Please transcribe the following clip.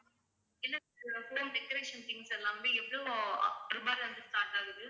இல்ல sir home decoration things எல்லாமே எவ்ளோ அ~ ரூபாய்ல இருந்து start ஆகுது?